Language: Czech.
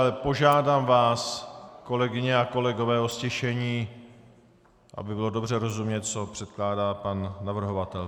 Ale požádám vás, kolegyně a kolegové, o ztišení, aby bylo dobře rozumět, co předkládá pan navrhovatel.